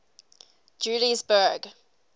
juliesburg